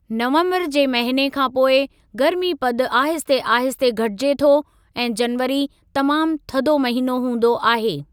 नवम्बरु जे महीने खां पोइ गर्मी पद आहिस्ते आहिस्ते घटिजे थो ऐं जनवरी तमामु थधो महीनो हूंदो आहे।